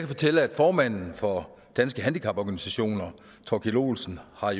fortælle at formanden for danske handicaporganisationer thorkild olesen har